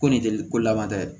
Ko nin tɛ ko laban tɛ